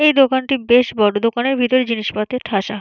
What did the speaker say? এই দোকানটি বেশ বড় দোকানের ভিতর জিনিসপাতি ঠাসা।